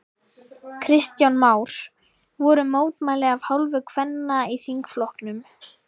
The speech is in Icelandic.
Kristján Már: Voru mótmæli af hálfu kvenna í þingflokknum?